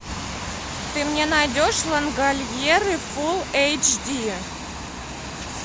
ты мне найдешь лангольеры фул эйч ди